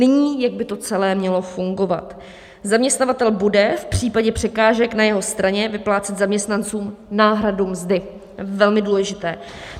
Nyní, jak by to celé mělo fungovat: zaměstnavatel bude v případě překážek na své straně vyplácet zaměstnancům náhradu mzdy - velmi důležité.